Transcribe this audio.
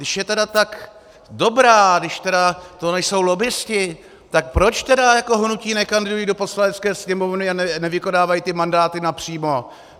Když je tedy tak dobrá, když tedy to nejsou lobbisté, tak proč tedy jako hnutí nekandidují do Poslanecké sněmovny a nevykonávají ty mandáty napřímo?